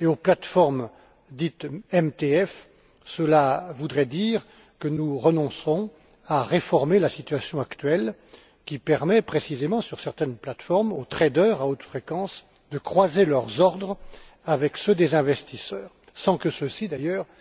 et aux plates formes dites MTF, cela voudrait dire que nous renonçons à réformer la situation actuelle qui permet, précisément, sur certaines plates formes, aux traders à haute fréquence, de croiser leurs ordres avec ceux des investisseurs, sans que ceux ci, d'ailleurs,